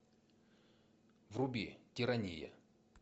вруби тирания